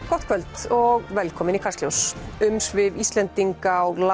gott kvöld og velkomin í Kastljós umsvif Íslendinga á